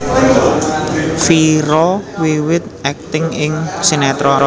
Vira wiwit akting ing sinétron